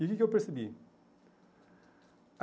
E o que que eu percebi?